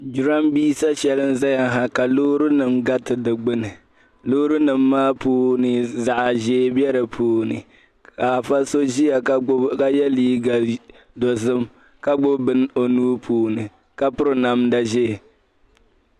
Jiramiinsa shɛli n-zaya ha ka loorinima garita di gbuni loorinima maa puuni zaɣ'ʒee bɛ di puuni ka afa so ʒiya ka yɛ liiga dozim ka gbubi bɛni o nuu puuni ka piri namda ʒee.